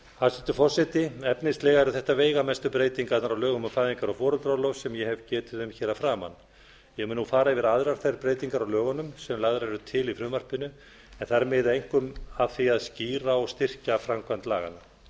hæstvirtur forseti efnislega eru þetta veigamestu breytingarnar á lögum um fæðingar og foreldraorlof sem ég hef getið um hér að framan ég mun nú fara yfir aðrar þær breytingar á lögunum sem lagðar eru til í frumvarpinu en þær miða einkum að því að skýra og styrkja framkvæmd laganna